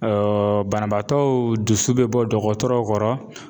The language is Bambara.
banabaatɔw dusu be bɔ dɔgɔtɔrɔw kɔrɔ.